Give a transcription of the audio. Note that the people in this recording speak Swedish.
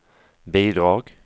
bidrag